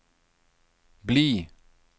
bli